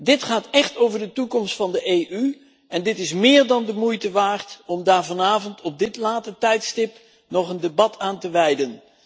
Dit gaat echt over de toekomst van de EU en het is meer dan de moeite waard om daar vanavond op dit late tijdstip nog een debat aan te wijden.